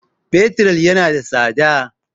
Fetur yana da tsada